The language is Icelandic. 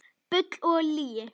Bull og lygi